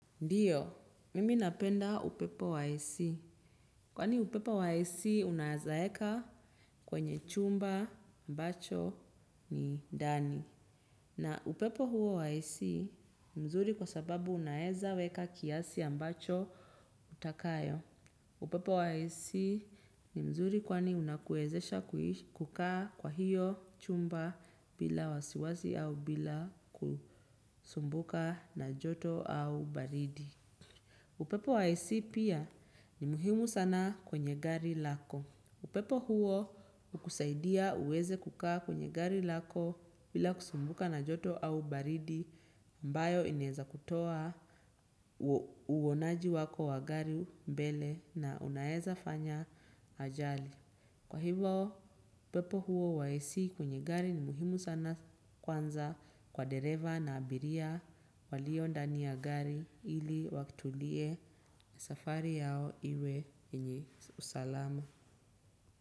Ndiyo, mimi napenda upepo wa AC. Kwani upepo wa AC unaezaeka kwenye chumba ambacho ni ndani. Na upepo huo wa AC ni mzuri kwa sababu unaeza weka kiasi ambacho utakayo. Upepo wa AC ni mzuri kwani unakuwezesha kukaa kwa hiyo chumba bila wasiwasi au bila kusumbuka na joto au baridi. Upepo wa AC pia ni muhimu sana kwenye gari lako. Upepo huo hukusaidia uweze kukaa kwenye gari lako bila kusumbuka na joto au baridi ambayo ineza kutoa uonaji wako wa gari mbele na unaeza fanya ajali. Kwa hivyo, upepo huo wa AC kwenye gari ni muhimu sana kwanza kwa dereva na abiria walio ndani ya gari ili watulie safari yao iwe yenye usalamu.